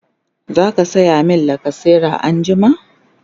zaka saya mini lacasera anjima?